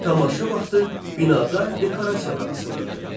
Tamaşa vaxtı binada dekorasiyalar açılırdı.